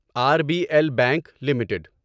are B L bank limited